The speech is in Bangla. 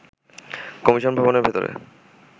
কমিশন ভবনের ভেতরে